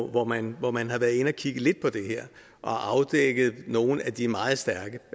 hvor man hvor man har været inde at kigge lidt på det her og afdækket nogle af de meget stærke